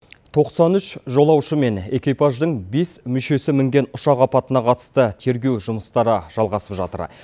тоқсан үш жолаушы мен экипаждың бес мүшесі мінген ұшақ апатына қатысты тергеу жұмыстары жалғасып жатыр